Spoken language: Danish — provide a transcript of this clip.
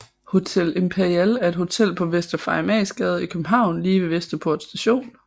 Hotel Imperial er et hotel på Vester Farimagsgade i København lige ved Vesterport Station